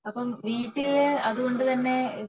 അപ്പോൾ വീട്ടില് അതുകൊണ്ട് തന്നെ